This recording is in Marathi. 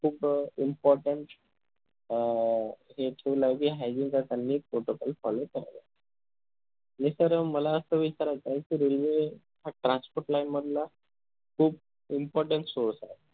खूप अं important अह HYGINE चा त्यांनी protocol follow करतो मी तर अं मला असं विचारायचं आहे कि railway हा transport line मधला खूष important source आहे